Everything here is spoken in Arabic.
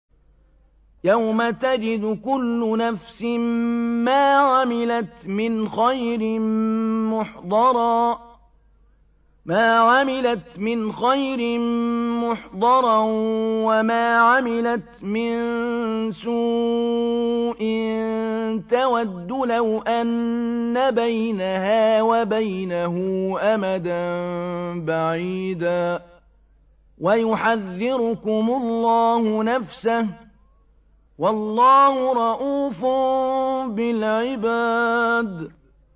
يَوْمَ تَجِدُ كُلُّ نَفْسٍ مَّا عَمِلَتْ مِنْ خَيْرٍ مُّحْضَرًا وَمَا عَمِلَتْ مِن سُوءٍ تَوَدُّ لَوْ أَنَّ بَيْنَهَا وَبَيْنَهُ أَمَدًا بَعِيدًا ۗ وَيُحَذِّرُكُمُ اللَّهُ نَفْسَهُ ۗ وَاللَّهُ رَءُوفٌ بِالْعِبَادِ